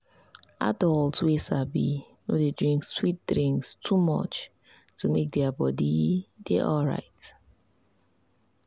adults wey sabi no dey drink sweet drink too much to make their body dey alright.